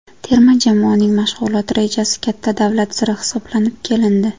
Terma jamoaning mashg‘ulot rejasi katta davlat siri hisoblanib kelindi.